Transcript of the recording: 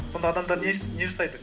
сонда адамдар не жасайды